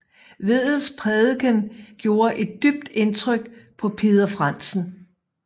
Vedels prædiken gjorde et dybt indtryk på Peder Frandsen